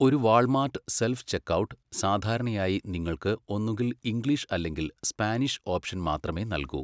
ഒരു Walmart self checkout സാധാരണയായി നിങ്ങൾക്ക് ഒന്നുകിൽ ഇംഗ്ലീഷ് അല്ലെങ്കിൽ സ്പാനിഷ് ഓപ്ഷൻ മാത്രമേ നൽകൂ.